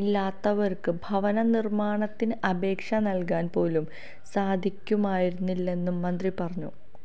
ഇല്ലാത്തവർക്ക് ഭവന നിർമാണത്തിന് അപേക്ഷ നൽകാൻ പോലും സാധിക്കുമായിരുന്നില്ലെന്നും മന്ത്രി പറഞ്ഞു